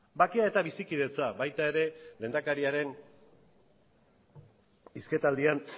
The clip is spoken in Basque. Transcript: bakea eta bizikidetza baita ere lehendakariaren hizketaldian